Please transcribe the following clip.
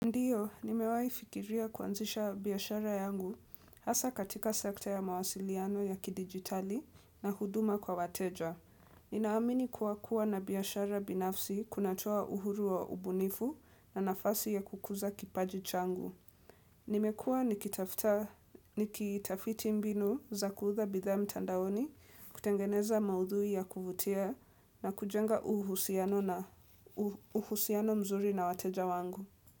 Ndiyo, nimewai fikiria kuanzisha biashara yangu hasa katika sekta ya mawasiliano ya kidigitali na huduma kwa wateja. Ninaamini kuwa kuwa na biashara binafsi kunatoa uhuru wa ubunifu na nafasi ya kukuza kipaji changu. Nimekuwa nikitafta nikitafiti mbinu za kuuza bithaa mtandaoni kutengeneza maudhui ya kuvutia na kujenga uhusiano na uhusiano mzuri na wateja wangu.